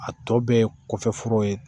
A tɔ bɛɛ ye kɔfɛ foro ye